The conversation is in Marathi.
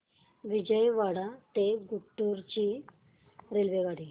विजयवाडा ते गुंटूर ची रेल्वेगाडी